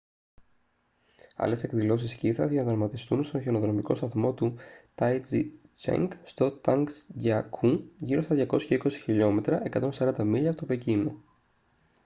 άλλες εκδηλώσεις σκι θα διαδραματιστούν στον χιονοδρομικό σταθμό του taizicheng στο τσανγκζιακού γύρω στα 220 χλμ 140 μίλια από το πεκίνο